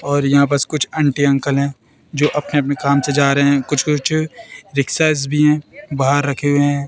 और यहां पर कुछ आंटी अंकल है जो अपने अपने काम से जा रहे हैं कुछ कुछ रिक्शा भी हैं बाहर रखे हुए हैं।